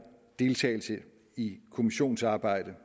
om deltagelse i et kommissionsarbejde